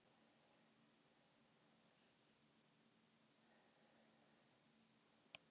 Engi má feigð sinni forða.